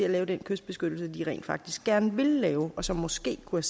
at lave den kystbeskyttelse de rent faktisk gerne ville lave og som måske kunne